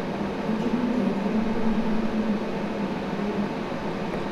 ĩkira ngengeregĩa thaa ĩmwe rũcinĩ gĩa wĩra